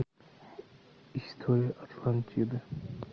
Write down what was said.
история атлантиды